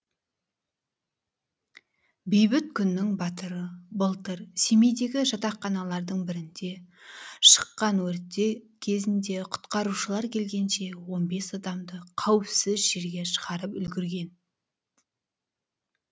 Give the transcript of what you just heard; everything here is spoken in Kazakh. бейбіт күннің батыры былтыр семейдегі жатақханалардың бірінде шыққан өрт кезінде құтқарушылар келгенше он бес адамды қауіпсіз жерге шығарып үлгерген